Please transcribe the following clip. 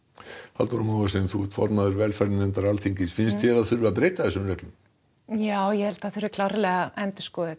Halldóra þú ert formaður velferðarnefndar Alþingis finnst þér að það þurfi að breyta þessum reglum já það þarf klárlega að endurskoða þetta